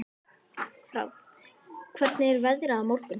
Fránn, hvernig er veðrið á morgun?